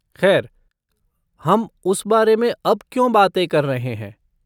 खैर, हम उस बारे में अब क्यों बातें कर रहे हैं?